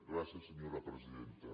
gràcies senyora presidenta